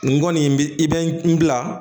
N kɔni bi i bɛ n bila